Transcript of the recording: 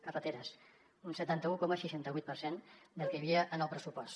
carreteres un setanta un coma seixanta vuit per cent del que hi havia en el pressupost